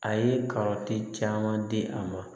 A ye kɔrɔtɛn caman di a ma